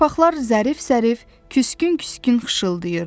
Yarpaqlar zərif-zərif, küskün-küskün xışıltayırdı.